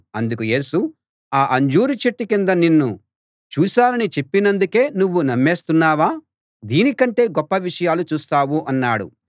అందుకు యేసు ఆ అంజూరు చెట్టు కింద నిన్ను చూశానని చెప్పినందుకే నువ్వు నమ్మేస్తున్నావా దీని కంటే గొప్ప విషయాలు చూస్తావు అన్నాడు